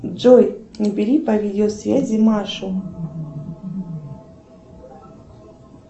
джой набери по видеосвязи машу